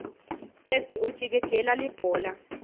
sesi ujikijela libhola